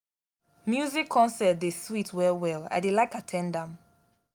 music concert dey sweet well-well i dey like at ten d am.